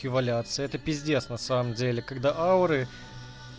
это п на самом деле когда ауры